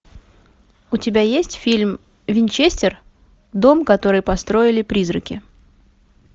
у тебя есть фильм винчестер дом который построили призраки